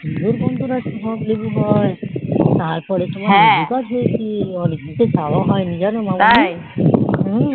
লেবুর গন্ধ সব লেবু হয় তারপর লেবু গাছ হৈছে লেবু পারা হয়নি জানো